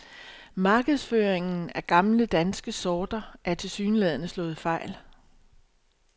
Markedsføringen af gamle danske sorter er tilsyneladende slået fejl.